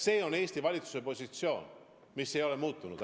See on Eesti valitsuse positsioon, mis ei ole muutunud.